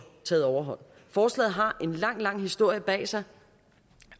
taget overhånd forslaget har en lang lang historie bag sig